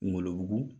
Wolo bugu